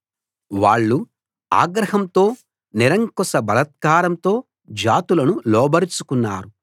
వాళ్ళు ఆగ్రహంతో నిరంకుశ బలత్కారంతో జాతులను లోబరచుకున్నారు